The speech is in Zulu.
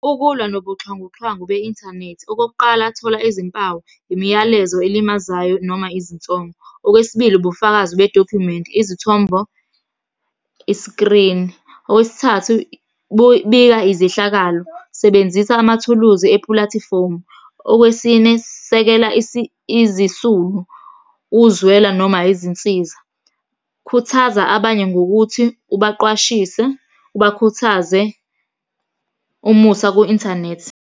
Ukulwa nobuxhwanguxhwangu be-inthanethi. Okokuqala, thola izimpawu, imiyalezo elimazayo noma izinsongo. Okwesibili, ubufakazi bedokhumenti, izithombo, iskrini. Okwesithathu, bika izehlakalo, sebenzisa amathuluzi epulathifomu. Okwesine, sekela izisulu, uzwela, noma izinsiza. Khuthaza abanye ngokuthi ubaqwashise, ubakhuthaze, umusakwi-inthanethi.